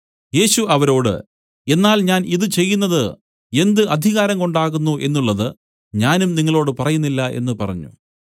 യേശു അവരോട് എന്നാൽ ഞാൻ ഇതു ചെയ്യുന്നതു എന്ത് അധികാരം കൊണ്ടാകുന്നു എന്നുള്ളത് ഞാനും നിങ്ങളോടു പറയുന്നില്ല എന്നു പറഞ്ഞു